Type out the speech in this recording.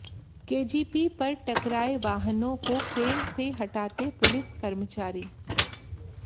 KGP पर टकराए वाहनों को क्रेन से हटाते पुलिस कर्मचारी